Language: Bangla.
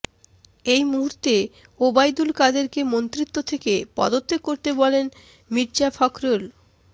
এই মুহূর্তে ওবায়দুল কাদেরকে মন্ত্রিত্ব থেকে পদত্যাগ করতে বললেন মির্জা ফখরুল